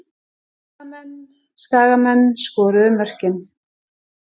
Skagamenn Skagamenn skoruðu mörkin.